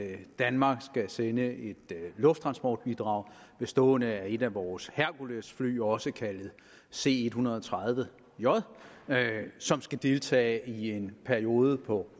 er at danmark skal sende et lufttransportbidrag bestående af et af vores herkulesfly også kaldet c en hundrede og tredive j som skal deltage i en periode på